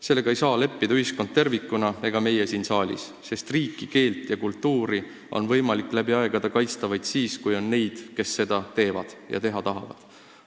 Sellega ei saa leppida ühiskond tervikuna ega meie siin saalis, sest riiki, keelt ja kultuuri on võimalik läbi aegade kaitsta vaid siis, kui on neid, kes seda teevad ja teha tahavad.